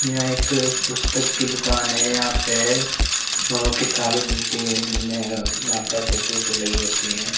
यह एक पुस्तक की दुकान है यहां पे किताबें मिलती है माता फोटो वोटो लगी होती है।